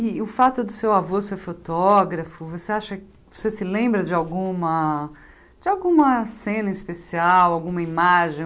E o fato do seu avô ser fotógrafo, você acha você se lembra de alguma de alguma cena especial, alguma imagem?